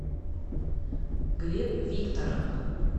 глеб викторовна